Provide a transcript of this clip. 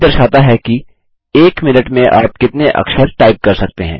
speed दर्शाता है कि एक मिनट में आप कितने अक्षर टाइप कर सकते हैं